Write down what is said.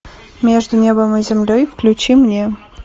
между небом и землей включи мне